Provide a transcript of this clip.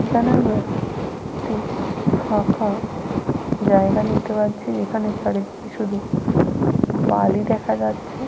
এখানে আমরা একটি ফাঁকা জায়গা দেখতে পাচ্ছি। যেখানে চারিদিকে শুধু বালি দেখা যাচ্ছে।